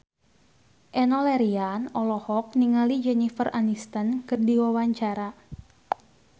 Enno Lerian olohok ningali Jennifer Aniston keur diwawancara